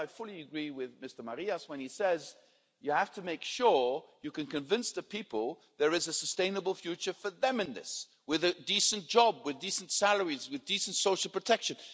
There, I fully agree with Mr Marias when he says you have to make sure you can convince the people there is a sustainable future for them in this, with a decent job, with decent salaries, with decent social protection.